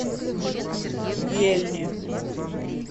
ельне